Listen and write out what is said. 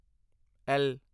L